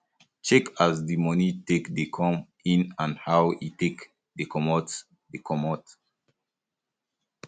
check um as di money take dey come in and how um e um take dey comot dey comot